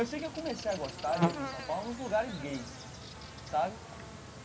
Eu sei que eu comecei a gostar de aqui em São Paulo os lugares gays, sabe?